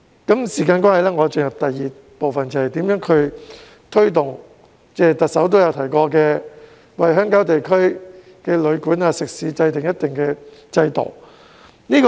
由於時間關係，我進入第二部分，便是如何推動特首曾提及的為鄉郊地區的旅館和食肆制訂一套制度。